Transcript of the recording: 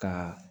Ka